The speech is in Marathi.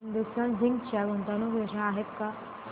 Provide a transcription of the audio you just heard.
हिंदुस्तान झिंक च्या गुंतवणूक योजना आहेत का